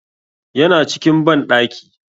Yana cikin banɗaki.